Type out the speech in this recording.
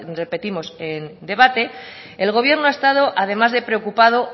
repetimos en debate el gobierno ha estado además de preocupado